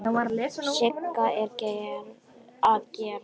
Sigga að gera?